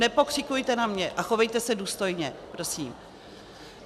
Nepokřikujte na mě a chovejte se důstojně, prosím.